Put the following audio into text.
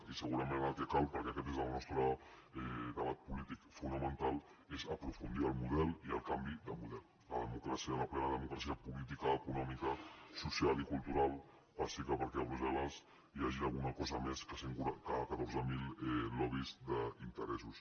i segurament ara el que cal perquè aquest és el nostre debat polític fonamental és aprofundir en el model i en el canvi de model que la democràcia la plena democràcia política econòmica social i cultural passi perquè a brussel·les hi hagi alguna cosa més que catorze mil lobbys d’interessos